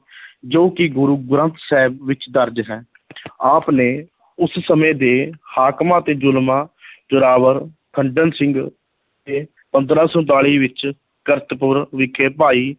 ਜੋ ਕਿ ਗੁਰੂ ਗ੍ਰੰਥ ਸਾਹਿਬ ਵਿੱਚ ਦਰਜ ਹੈ ਆਪ ਨੇ ਉਸ ਸਮੇਂ ਦੇ ਹਾਕਮਾਂ ਤੇ ਜ਼ੁਲਮਾਂ ਜ਼ੋਰਾਵਰ ਖੰਡਨ ਕੀਤਾ ਸਿੰਘ ਤੇ ਪੰਦਰਾਂ ਸੌ ਉਨਤਾਲੀ ਵਿੱਚ ਕਰਤਪੁਰ ਵਿਖੇ ਭਾਈ